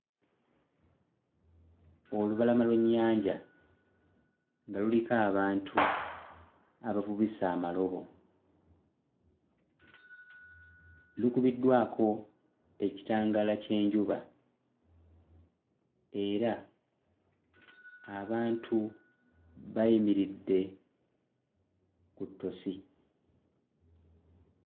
Olubalama lw'ennyanja nga luliko abantu abavubisa amalobo lukubiddwako ekitangaala ky'enjuba era abantu bayimiridde ku ttosi